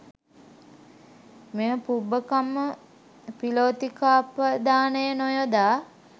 මෙම පුබ්බකම්ම පිලෝතිකාපදානය නොයොදා